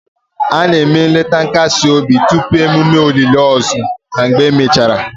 A na-eme nleta nkasi obi tupu emume olili ozu na mgbe emechara